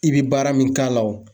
I bɛ baara min k'a la o.